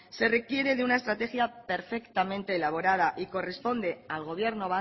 se requiere de una estrategia perfectamente elaborada y corresponde al gobierno